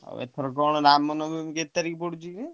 ଆଉ ଏଥର କଣ ରାମ ନବମୀ କେତେ ତାରିଖ ପଡୁଛି କି?